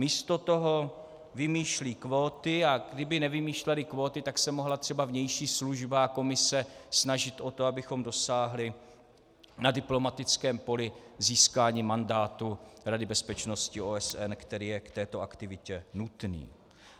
Místo toho vymýšlí kvóty, a kdyby nevymýšleli kvóty, tak se mohla třeba vnější služba a Komise snažit o to, abychom dosáhli na diplomatickém poli získání mandátu Rady bezpečnosti OSN, který je k této aktivitě nutný.